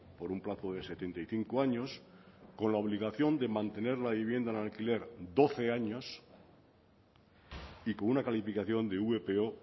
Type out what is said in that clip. por un plazo de setenta y cinco años con la obligación de mantener la vivienda en alquiler doce años y con una calificación de vpo